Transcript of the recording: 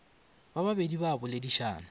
ba babedi ba a boledišana